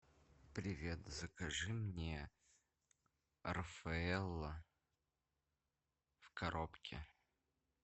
привет закажи мне рафаэлло в коробке